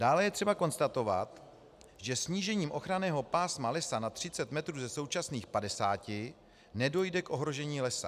Dále je třeba konstatovat, že snížením ochranného pásma lesa na 30 metrů ze současných 50 nedojde k ohrožení lesa.